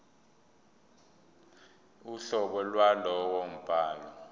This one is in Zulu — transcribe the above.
uhlobo lwalowo mbhalo